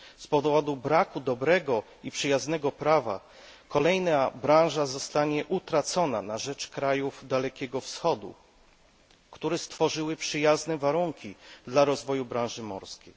Z powodu braku dobrego i przyjaznego prawa kolejna branża zostanie utracona na rzecz krajów Dalekiego Wschodu, które stworzyły przyjazne warunki dla rozwoju branży morskiej.